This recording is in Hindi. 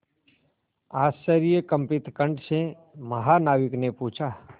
आश्चर्यकंपित कंठ से महानाविक ने पूछा